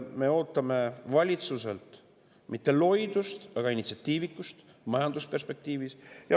Me ei oota valitsuselt mitte loidust, vaid initsiatiivikust majanduse perspektiivis.